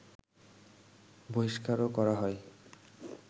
বহিষ্কারও করা হয়